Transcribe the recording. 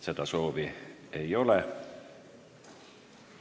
Seda soovi ei ole.